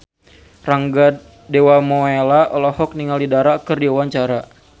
Rangga Dewamoela olohok ningali Dara keur diwawancara